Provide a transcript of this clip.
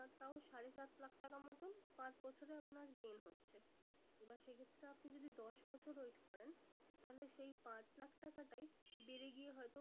তাও সারে সাত লাখ টাকা মতোন পাঁচ বছরে আপনার gain হচ্ছে। এবার সে ক্ষেত্রে আপনি যদি দশ বছর wait করেন। তাহলে এই পাঁচ লাখ টাকাটাই বেড়ে গিয়ে হয় তো